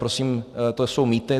Prosím, to jsou mýty.